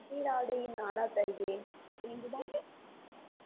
நாடா தருகிறேன் என்றுதான்